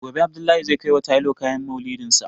Gobe Abdullahi zai kaiwa tailor kayan Maulidinsa.